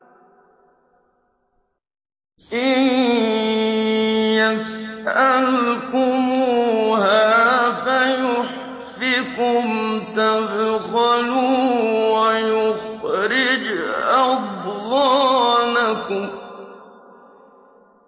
إِن يَسْأَلْكُمُوهَا فَيُحْفِكُمْ تَبْخَلُوا وَيُخْرِجْ أَضْغَانَكُمْ